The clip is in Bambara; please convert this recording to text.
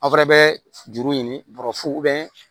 Aw fana bɛ juru ɲini bɔrɔfuw